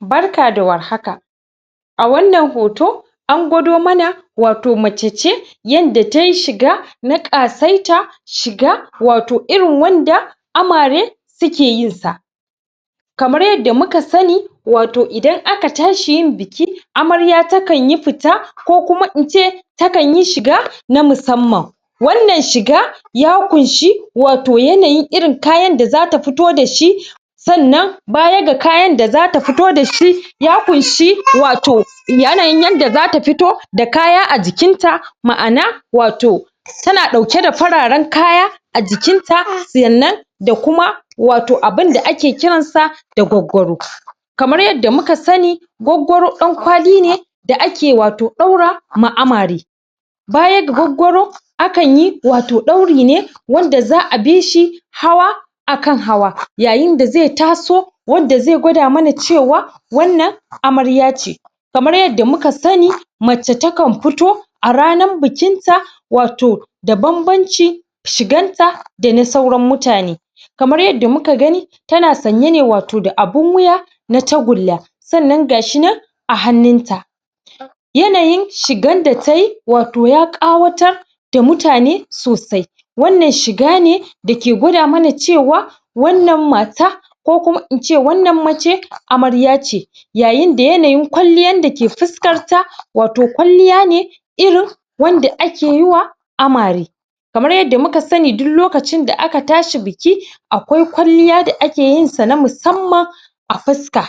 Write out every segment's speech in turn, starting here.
barka da war haka a wannan hoto angwado mana wato macece yanda tayi shiga na ƙasaita shiga wato irin wanda amare sukeyin sa suke yinsa kamar yadda muka sani wato idan aka tashi yin biki amarya takanyi fita ko kuma ince takanyi shiga na musamman wannan shiga ya kunshe wato yanayin irin kayan da zata fito dashi sannan baya ga kayan da zata fito da shi ya kunshe wato yanayin yanda zata fito da kaya a jikinta ma'ana wato tana ɗauke da fararan kaya a jikinta sannan wato abinda ake kiransa da gwaggwaro kamar yadda muka sani gwagwaro ɗankwali ne da ake wato ɗaurawa amare baya ga gwagwaro akanyi wato ɗauri ne wanda za a bishi hawa akan hawa yayin da zai taso wadda zai gwada mana cewa wannan amarya ce kamar yadda muka sani mace takan fito a ranan bikinta wato da banbancin shiganta dana sauran mutane kamar yadda muka gani tana sanye ne wato da abun wuya na tagulla sannan gashinan a hanninta yanayin shigan da tayi wato ya ƙawatar da mutane sosai wannan shigane dakegwada mana cewa wannan mata ko kuma ince wannan mace amaryace yayin da yanayin ƙwalliyan dake fuskarta wato kwalliya ne irin wanda ake yiwa amare kamar yadda muka sani duk lokacin da aka tashi biki aƙwai ƙwalliya da akeyin na musamman a fuska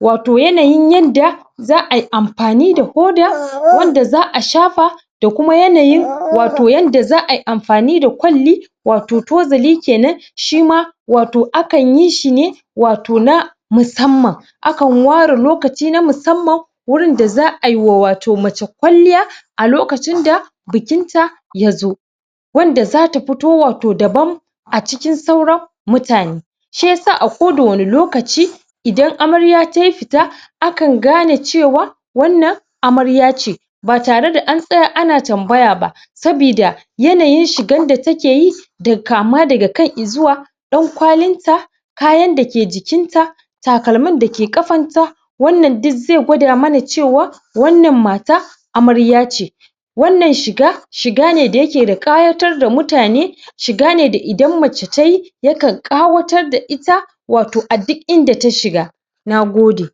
wato yanayin yadda za ayi amfani da huda wanda za a shafa da kuma yanayin wato yanda za ai amfani da ƙwalli wato tozali kenan shima wato akan yi shine wato na musamman akan ware lokaci na musamman wurin da za aiwa wato mace kwanliya a lokacin da bikinta yazo wanda zata fito wato daban a cikin sauran mutane shiyasa a ko da wanne lokaci idan amarya tayi fita akan gane cewa wannan amarya ce ba tare da an tsaya ana tambaya ba sabida yanayin shigan da takeyi kama daga kai izuwa ɗan kwalinta kayan dake jikinta takalmin dake ƙafanta wannan duk zai gwada mana cewa wannan mata amarya ce wannan shiga shigane da yake da ƙayatar da mutane shigane da idan mace tayi yakan ƙawatar da ita wato a duk inda ta shiga nagode